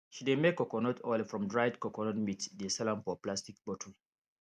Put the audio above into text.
she dey make coconut oil from dried coconut meat dey sell am for plastic bottle